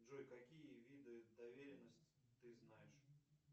джой какие виды доверенности ты знаешь